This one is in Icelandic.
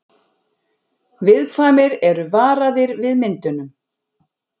Viðkvæmir eru varaðir við myndunum